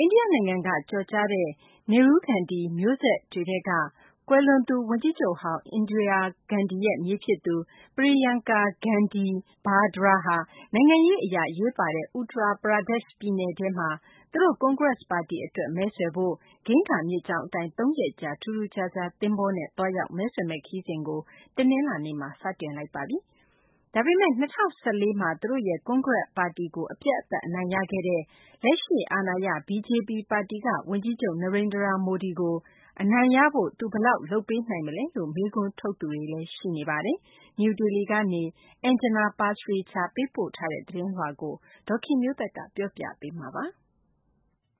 ိန္ဒိယနိုင်ငံက ကျော်ကြားတဲ့ Nehru-Gandhi မျိုးဆက်တွေထဲက ကွယ်လွန်သူ ဝန်ကြီးချုပ်ဟောင်း Indira Gandhi ရဲ့ မြေးဖြစ်သူ Priyanka Gandhi Vadra ဟာ နိုင်ငံရေးအရ အရေးပါတဲ့ Uttar Pradesh ပြည်နယ်ထဲမှာ သူတို့ကွန်ဂရက်ပါတီအတွက် မဲဆွယ်ဖို့ ဂင်္ဂါမြစ်ကြောင်း အတိုင်း ၃ ရက်ကြာ ထူးထူးခြားခြား သင်္ဘောနဲ့သွားရောက် မဲဆွယ်မယ့်ခရီးစဉ်ကို တနင်္လာနေ့မှာ စတင်လိုက်ပါပြီ။ ဒါပေမယ့် ၂၀၁၄ မှာ သူတို့ရဲ့ ကွန်ဂရက်ပါတီကို အပြတ်အသတ် အနိုင်ရခဲ့တဲ့ လက်ရှိအာဏာရ BJP ပါတီက ဝန်ကြီးချုပ် Narendra Modi ကို အနိုင်ရဖို့ သူဘယ်လောက် လုပ်ပေးနိုင်မလဲလို့ မေးခွန်းထုတ်နေ သူတွေလည်း ရှိပါတယ်။ နယူးဒေလီက Anjana Pasricha ပေးပို့ထားတဲ့ သတင်းလွှာကို ဒေါ်ခင်မျိုးသက်က ပြောပြပေးမှာပါ။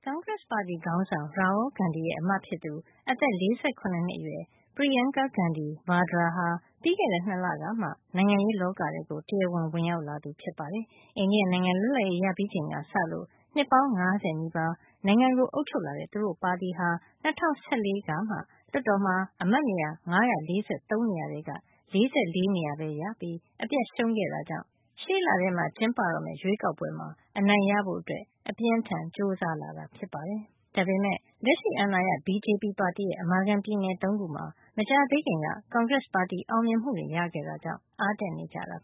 ကွန်ဂရက်ပါတီခေါင်းဆောင် Rahul Gandhi ရဲ့ အမဖြစ်သူ အသက် ၄၇ နှစ်အရွယ် Priyanka Gandhi Vadra ဟာ ပြီးခဲ့တဲ့ ၂ လကမှ နိုင်ငံရေးလောကထဲကို တရားဝင် ဝင်ရောက်လာတာ ဖြစ်ပါတယ်။ အိန္ဒိယနိုင်ငံ လွတ်လပ်ရေးရပြီးချိန်ကစလို့ နှစ်ပေါင်း ၅၀ နီးပါး နိုင်ငံကိုအုပ်ချုပ်လာတဲ့ သူတို့ပါတီဟာ ၂၀၁၄ ကမှ လွှတ်တော်မှာ အမတ်နေရာ ၅၄၃ နေရာထဲက ၄၄ နေရာပဲရပြီး အပြတ်ရှုံးခဲ့ရတာကြောင့် ရှေ့လထဲ ကျင်းပတော့မယ့် ရွေးကောက်ပွဲမှာ အနိုင်ရဖို့ အပြင်းအထန် ကြိုးစားလာတာဖြစ်ပါတယ်။ ဒါပေမယ့် လက်ရှိအာဏာရ BJP ပါတီရဲ့အမာခံ ပြည်နယ် ၃ ခုမှာ မကြာသေးခင်က ကွန်ဂရက်ပါတီအောင်မြင်မှုတွေ ရခဲ့တာကြောင့် အားတက်နေကြတာပါ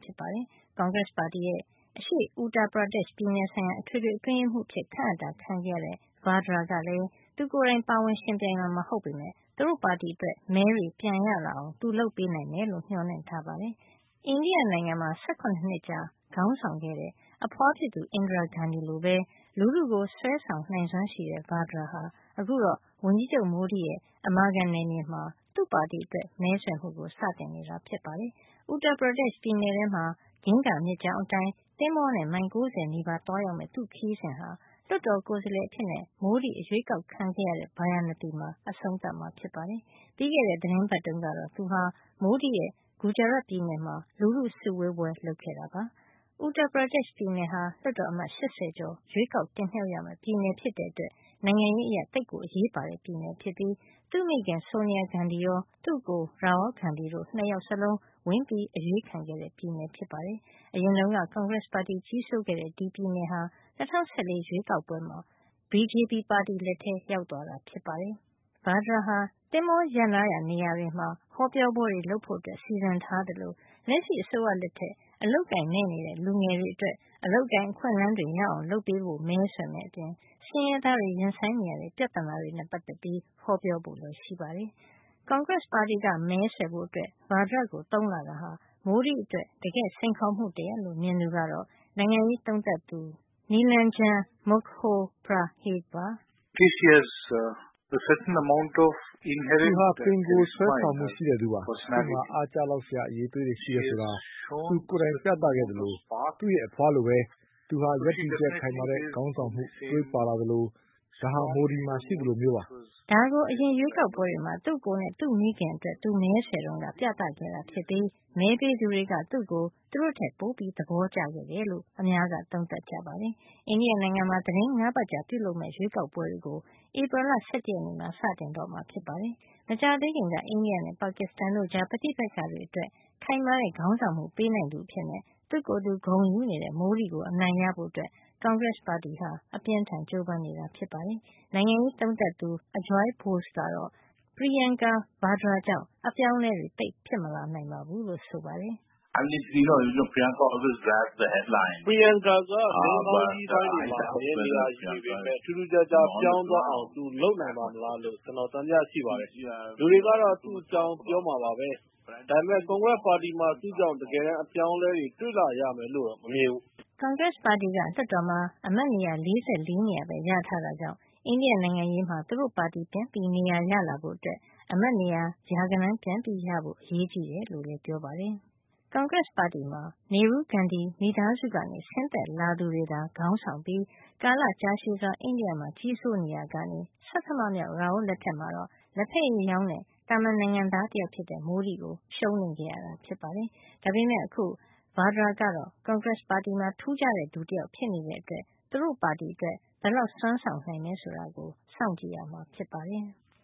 ။ ကွန်ဂရက်ပါတီရဲ့ အရှေ့Uttar Pradesh ပြည်နယ်ဆိုင်ရာ အထွေထွေအတွင်းရေးမှုးအဖြစ် ခန့်အပ်တာ ခံခဲ့ရတဲ့ Vadra ကလည်း သူကိုယ်တိုင် ပါဝင်ယှဉ်ပြိုင်မှာ မဟုတ်ပေမယ့် သူတို့ပါတီအတွက် မဲတွေ ပြန်ရလာအောင် သူလုပ်ပေးနိုင်မယ်လို့ မျှော်လင့်ထားပါတယ်။ အိန္ဒိယမှာ ၁၇ နှစ်ကြာခေါင်းဆောင်ခဲ့တဲ့ အဖွားဖြစ်သူ Indira Gandhi လိုပဲ လူထုကို ဆွဲဆောင်နိုင်စွမ်းရှိတဲ့ Vadra ဟာ အခုတော့ ဝန်ကြီးချုပ် Modi ရဲ့ အမာခံနယ်မြေမှာ သူ့ပါတီအတွက် မဲဆွယ်မှုကို စတင်နေတာ ဖြစ်ပါတယ်။ Uttar Pradesh ပြည်နယ်ထဲမှာ ဂင်္ဂါမြစ်ကြောင်းအတိုင်း သင်္ဘောနဲ့ မိုင် ၉၀ နီးပါးသွားရောက်မယ့် သူ့ ခရီးစဉ်ဟာ လွှတ်တော်ကိုယ်စားလှယ်အဖြစ် Modi အရွေးကောက် ခံခဲ့ရတဲ့ ဗာရာဏသီမှာ အဆုံးသတ်မှာ ဖြစ်ပါတယ်။ ပြီးခဲ့တဲ့ သီတင်းပတ်တုန်းကတော့ သူဟာ Modi ရဲ့ ဂူဂျာရတ်ပြည်နယ်မှာ လူထုစုဝေးပွဲ လုပ်ခဲ့တာပါ။ Uttar Pradesh ပြည်နယ်ဟာ လွှတ်တော်အမတ် ၈၀ ကျော် ရွေးကောက်တင်မြှောက် ရမယ့်ပြည်နယ် ဖြစ်တဲ့အတွက် နိုင်ငံရေးအရ သိပ်အရေးပါတဲ့ ပြည်နယ်ဖြစ်ပြီး သူ့မိခင် Sonia Ghandi ရော သူ့အကို Rahul Ghandi တို့ ၂ ယောက်လုံး ဝင်ရောက် အရွေးခံတဲ့ ပြည်နယ်ဖြစ်ပါတယ်။ အရင်တုန်းက ကွန်ဂရက်ပါတီကြီးစိုးခဲ့တဲ့ ဒီပြည်နယ်ဟာ ၂၀၁၄ ရွေးကောက်ပွဲမှာ BJP ပါတီလက်ထဲ ရောက်သွားတာဖြစ်ပါတယ်။ Vadra ဟာ သင်္ဘောရပ်နားရာ နေရာတွေမှာ ဟောပြောပွဲတွေ လုပ်ဖို့ စီစဉ်ထားသလို လက်ရှိအစိုးရလက်ထက် အလုပ်အကိုင်မဲ့နေတဲ့ လူငယ်တွေအတွက် အလုပ်အကိုင် အခွင့်အလန်း တွေ ရအောင်လုပ်ပေးဖို့ မဲဆွယ်မယ့်အပြင် ဆင်းရဲသားတွေ ရင်ဆိုင်နေရတဲ့ ပြဿနာတွေနဲ့ ပတ်သက်ပြီး ဟောပြောဖို့ ရှိပါတယ်။ ကွန်ရက်ပါတီက မဲဆွယ်ဖို့ Vadra ကို သုံးလာတာဟာ Modi အတွက် တကယ့်စိန်ခေါ်မှုတရပ်လို့ မြင်သူကတော့ နိုင်ငံရေးသုံးသပ်သူ Nilanjan Mukhopadhyay ပါ။ “သူဟာ ပင်ကိုယ် ဆွဲဆောင်မှုရှိသူပါ။ သူ့မှာ အားကျလောက်စရာ အရည်အသွေးရှိတယ် ဆိုတာ သူကိုယ်တိုင် ပြခဲ့ပါတယ်။ သူ့အဖွားလိုပဲ သူဟာ ရပ်တည်ချက်ခိုင်မာတဲ့ ခေါင်းဆောင်မှု သွေးပါလာသလို၊ ဒါဟာ Modi မှာ ရှိသလိုမျိုးပါ” ဒါကို အရင်ရွေးကောက်ပွဲတွေမှာ သူ့အကိုနဲ့ သူ့မိခင်အတွက် သူမဲဆွယ်ခဲ့တုန်းက ပြသခဲ့တာ ဖြစ်ပြီး မဲပေးသူတွေက သူ့ကို သူတို့ထက်ပို သဘောကျခဲ့တယ်လို့ အများက သုံးသပ်ကြပါတယ်။ အိန္ဒိယနိုင်ငံမှာ သီတင်း ၅ ပတ်ကြာပြုလုပ်မယ့် ရွေးကောက်ပွဲတွေကို ဧပြီလ ၁၁ နေ့မှာ စတင်တော့မှာ ဖြစ်ပါတယ်။ မကြာသေးခင်က အိန္ဒိယနဲ့ ပါကစ္စတန်တို့ ကြား ပဋိပက္ခတွေအတွက် ခိုင်မာတဲ့ ခေါင်းဆောင်မှု ပေးနိုင်သူအဖြစ် သူ့ကိုယ်သူ ဂုဏ်ယူနေတဲ့ Modi ကိုအနိုင်ရဖို့ ကွန်ဂရက်ပါတီက အပြင်းအထန် ကြိုးပမ်းနေတာပါ။ နိုင်ငံရေးသုံးသပ်သူ Ajoy Bose ကတော့ Priyanka Vadra ကြောင့် အပြောင်းအလဲတွေ သိပ်ဖြစ်မလာနိုင်ပါဘူးလု့ိဆိုပါတယ်။ Priyanka က သတင်းခေါင်းကြီးပိုင်းတွေမှာ အမြဲနေရာယူနေပေမယ့် ထူးထူးခြားခြား ပြောင်းသွားအောင် သူလုပ်နိုင်ပါ့မလားလို့ ကျနော် သံသယ ရှိပါတယ်။ လူတွေကတော့ သူ့အကြောင်း ပြောမှာပါပဲ။ ဒါပေမယ့် ကွန်ဂရက်ပါတီမှာ သူ့ကြောင့် တကယ်တမ်း အပြောင်းအလဲတွေ တွေ့လာရမယ်လို့တော့ မမြင်ဘူး” ကွန်ဂရက် ပါတီက လွတ်တော်မှာ အမတ်နေရာ ၄၄ နေရာပဲ ရထားတာကြောင့် အိန္ဒိယနိုင်ငံရေးမှာ သူတို့ ပါတီပြန်နေရာရလာဖို့ အမတ်နေရာ ရာဂဏန်း ပြန်ရဖို့ အရေးကြီးတယ်လို့လည်း ပြောပါတယ်။ ကွန်ဂရက်ပါတီမှာ Nehru-Gandhi မိသားစုက ဆင်းသက်လာသူတွေသာ ခေါင်းဆောင်ပြီး ကာလကြာရှည်စွာ အိန္ဒိယမှာ ကြီးစိုးနေရာကနေ ဆဌမမြောက် Rahul လက်ထက်မှာတော့ လက်ဖက်ရည်ရောင်းတဲ့ သာမန်နိုင်ငံသား တယောက်ဖြစ်တဲ့ Modi ကို ရှုံးနိမ့်ခဲ့ရတာ ဖြစ်ပါတယ်။ ဒါပေမယ့် အခု Vadra ကတော့ ကွန်ဂရက်ပါတီမှာ ထူးခြားတဲ့ သူတယောက်ဖြစ်နေတဲ့အတွက် သူတို့ပါတီအတွက် ဘယ်လောက် စွမ်းဆောင်နိုင်မယ် ဆိုတာကို စောင့်ကြည့်ရမှာ ဖြစ်ပါတယ်။